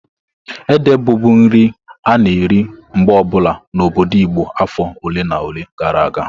Ede bụbu nri a-na eri mgbe obula n'obodo Igbo afọ ole na ole gara aga.